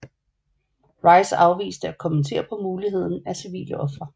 Rice afviste at kommentere på muligheden af civile ofre